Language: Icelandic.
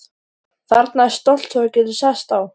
Þarna er stóll sem þú getur sest á.